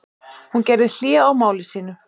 Hún gerði hlé á máli sínu.